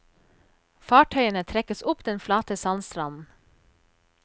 Fartøyene trekkes opp den flate sandstranden.